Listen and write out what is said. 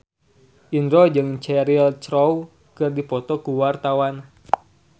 Indro jeung Cheryl Crow keur dipoto ku wartawan